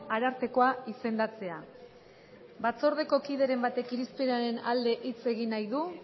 arartekoa izendatzea batzordeko kideren batek irizpenaren alde hitz egin nahi du